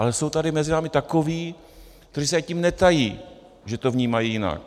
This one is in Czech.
Ale jsou tady mezi námi takoví, kteří se tím netají, že to vnímají jinak.